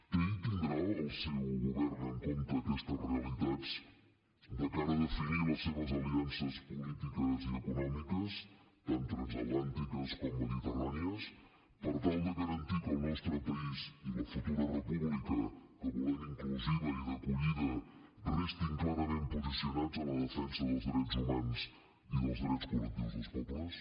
té i tindrà el seu govern en compte aquestes realitats de cara a definir les seves aliances polítiques i econòmiques tant transatlàntiques com mediterrànies per tal de garantir que el nostre país i la futura república que volem inclusiva i d’acollida restin clarament posicionats a la defensa dels drets humans i dels drets col·lectius dels pobles